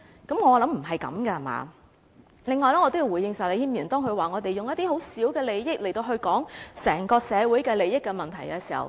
此外，我也要回應石禮謙議員，他說我們從十分微小利益的角度來討論整個社會的利益問題。